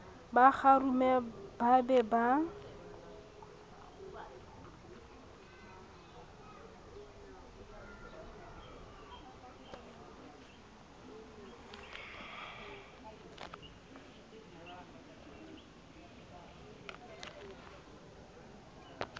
ba kgarume ba be ba